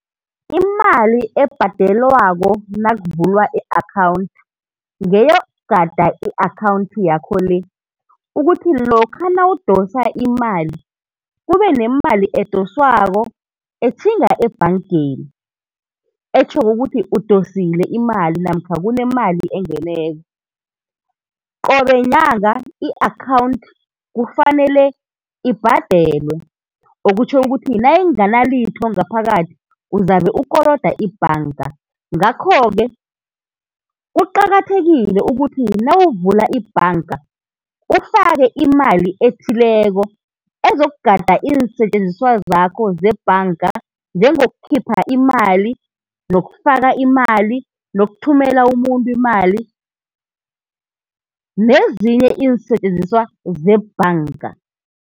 Imali ebhadelwako nakuvulwa i-akhawunthi ngeyokugada i-akhawunthi yakho le, ukuthi lokha nawudosa imali, kube nemali edoswako etjhinga ebhankeni, etjhoko ukuthi udosile imali namkha kunemali engeneko. Qobe yinyanga i-akhawunthi kufanele ibhadelwe, okutjho ukuthi nayinganalitho ngaphakathi uzabe ukoloda ibhanka. Ngakho-ke kuqakathekile ukuthi nawuvula ibhanka ufake imali ethileko ezokugada iinsetjenziswa zakho zebhanka njengokukhipha imali, nokufaka imali, nokuthumela umuntu imali, nezinye iinsetjenziswa zebhanka.